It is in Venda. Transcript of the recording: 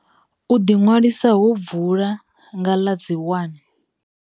U ḓiṅwalisa ho vula nga ḽa dzi 1.